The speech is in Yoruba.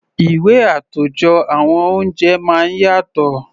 Ìwé àtòjọ àwọn oúnjẹ máa ń yàtọ̀.